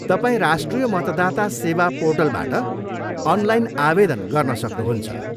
तपाईँ राष्ट्रिय मतदाता सेवा पोर्टलबाट अनलाइन आवेदन गर्न सक्नुहुन्छ।